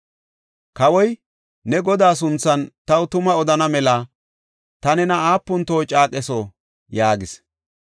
Kawoy, “Ne Godaa sunthan taw tuma odana mela ta nena aapun toho caaqetho?” yaagis.